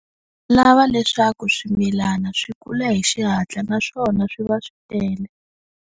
Lava leswaku swimilana swi kula hi xihatla naswona swi va swi tele.